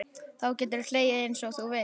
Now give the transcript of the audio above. Þá geturðu hlegið einsog þú vilt.